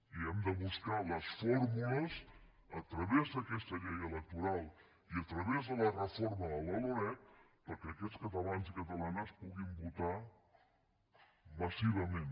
i hem de buscar les fórmules a través d’aquesta llei electoral i a través de la reforma de la loreg perquè aquests catalans i catalanes puguin votar massivament